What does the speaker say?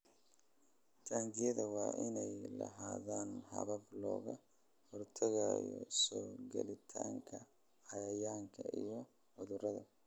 Taangiyada waa inay lahaadaan habab looga hortagayo soo galitaanka cayayaanka iyo cudurada.